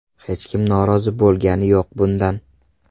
Hech kim norozi bo‘lgani yo‘q bundan.